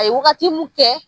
A ye wagati mun kɛ.